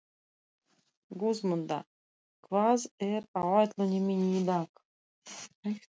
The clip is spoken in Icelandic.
Guðmunda, hvað er á áætluninni minni í dag?